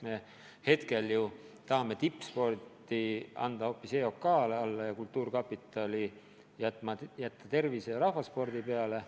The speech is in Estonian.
Me ju tahame tippspordi anda hoopis EOK kureerida ja kultuurkapitali jätta tervise- ja rahvaspordi peale.